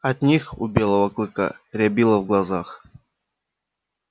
от них у белого клыка рябило в глазах